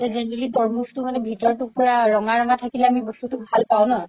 এই generally তৰমুজতো মানে ভিতৰতো পুৰা ৰঙা ৰঙা থাকিলে আমি ভাল পাও ন